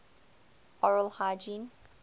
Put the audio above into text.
oral hygiene